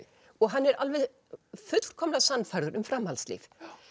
og hann er alveg fullkomlega sannfærður um framhaldslíf